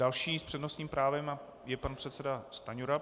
Další s přednostním právem je pan předseda Stanjura.